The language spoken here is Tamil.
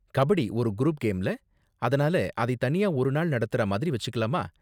கபடி ஒரு குரூப் கேம்ல, அதனால அதை தனியா ஒரு நாள் நடத்துற மாதிரி வெச்சுக்கலாமா?